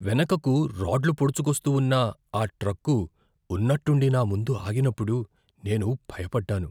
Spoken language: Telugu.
వెనుకకు రాడ్లు పోడుచుకొస్తూ ఉన్న ఆ ట్రక్కు ఉన్నట్టుండి నా ముందు ఆగినప్పుడు నేను భయపడ్డాను.